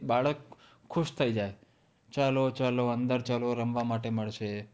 બાળક ખુશ થઈ જાય. ચાલો ચાલો અંદર ચાલો! રમવા માટે મળશે.